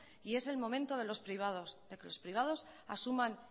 y es el momento de que los privados asuman